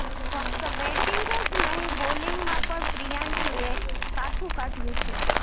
ફક્ત બેટિંગ જ નહીં બોલિંગમાં પણ પ્રિયાંશુએ કાઠું કાઢ્યું છે